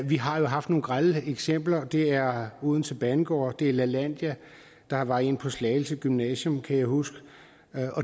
vi har jo haft nogle grelle eksempler det er odense banegård det er lalandia der var en på slagelse gymnasium kan jeg huske